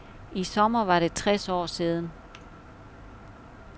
I sommer var det tres år siden.